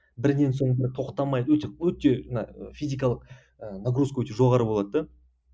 бірінен соң бірі тоқтамай өте өте мына физикалық ы нагрузка өте жоғары болады да